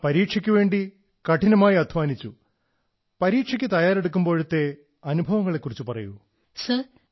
you would have worked very hard for exams how was your experience while preparing